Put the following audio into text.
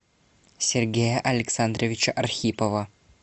сергея александровича архипова